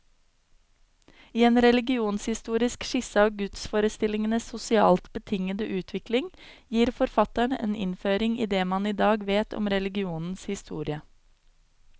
I en religionshistorisk skisse av gudsforestillingenes sosialt betingede utvikling, gir forfatteren en innføring i det man i dag vet om religionens historie.